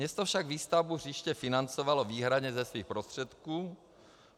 Město však výstavbu hřiště financovalo výhradně ze svých prostředků.